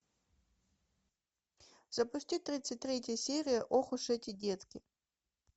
запусти тридцать третья серия ох уж эти детки